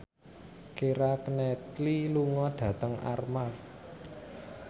Keira Knightley lunga dhateng Armargh